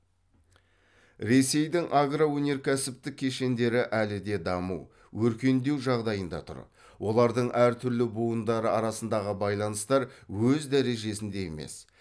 ресейдің агроөнеркәсіптік кешендері әлі де даму өркендеу жағдайында тұр олардың түрлі буындары арасындағы байланыстар өз дәрежесінде емес